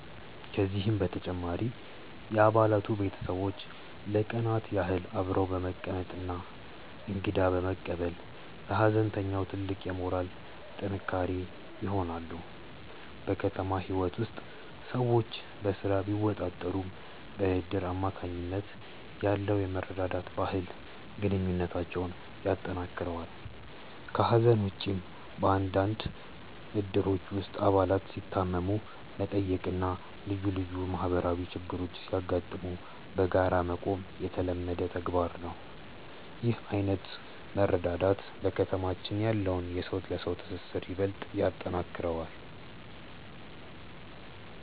ከዚህም በተጨማሪ የአባላቱ ቤተሰቦች ለቀናት ያህል አብረው በመቀመጥና እንግዳ በመቀበል ለሐዘንተኛው ትልቅ የሞራል ጥንካሬ ይሆናሉ። በከተማ ህይወት ውስጥ ሰዎች በስራ ቢወጠሩም፣ በእድር አማካኝነት ያለው የመረዳዳት ባህል ግንኙነታችንን ያጠናክረዋል። ከሐዘን ውጭም፣ በአንዳንድ እድሮች ውስጥ አባላት ሲታመሙ መጠየቅና ልዩ ልዩ ማህበራዊ ችግሮች ሲያጋጥሙ በጋራ መቆም የተለመደ ተግባር ነው። ይህ ዓይነቱ መረዳዳት በከተማችን ያለውን የሰው ለሰው ትስስር ይበልጥ ያጠነክረዋል።